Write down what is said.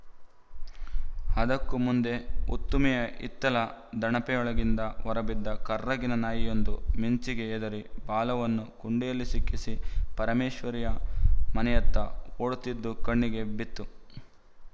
ಅದಕ್ಕೂ ಮುಂದೆ ಉತ್ತುಮಿಯ ಹಿತ್ತಿಲ ದಣಪೆಯೊಳಗಿಂದ ಹೊರಬಿದ್ದ ಕರ್ರಗಿನ ನಾಯಿಯೊಂದು ಮಿಂಚಿಗೆ ಹೆದರಿ ಬಾಲವನ್ನು ಕುಂಡೆಯಲ್ಲಿ ಸಿಕ್ಕಿಸಿ ಪರಮೇಶ್ವರಿಯ ಮನೆಯತ್ತ ಓಡುತ್ತಿದ್ದು ಕಣ್ಣಿಗೆ ಬಿತ್ತು